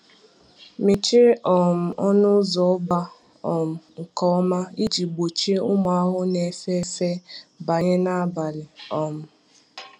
Mechie um ọnụ ụzọ ọba um nke ọma iji gbochie ụmụ ahụhụ na-efe efe banye n’abalị. um